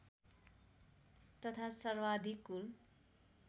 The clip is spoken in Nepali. तथा सर्वाधिक कुल